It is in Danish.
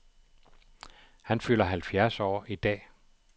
Han fylder halvfjerds år i dag.